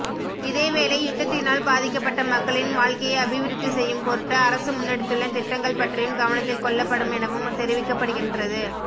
இதேவேளை யுத்தத்தினால் பாதிக்கப்பட்ட மக்களின் வாழ்க்கையை அபிவிருத்தி செய்யும் பொருட்டு அரசு முன்னெடுத்துள்ள திட்டங்கள் பற்றியும் கவனத்தில் கொள்ளப்படுமெனவும் தெரிவிக்கப்படுகின்றது